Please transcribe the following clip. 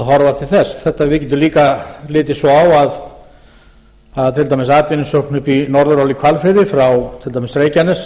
horfa til þess við getum líka litið svo á að til dæmis atvinnusókn upp í norðurál í hvalfirði frá til dæmis reykjanes